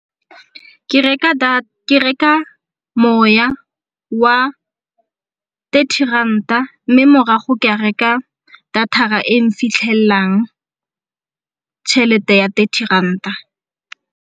Ke reka moya wa thirty ranta mme morago ke reka data-ra e nfitlhelang tšhelete ya thirty ranta.